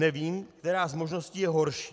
Nevím, která z možností je horší.